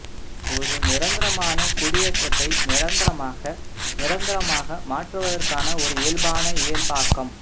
ஒரு நிரந்தரமான குடியேற்றத்தை நிரந்தரமாக நிரந்தரமாக மாற்றுவதற்கான ஒரு இயல்பான இயல்பாக்கம்